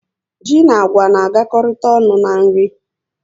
Ji na beans na agakari ọnụ n'nri